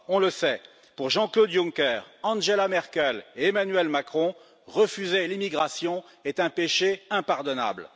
on le sait, pour Jean Claude Juncker, Angela Merkel et Emmanuel Macron, refuser l'immigration est un péché impardonnable.